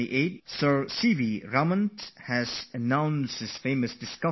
Raman had declared his discovery of the "Raman Effect"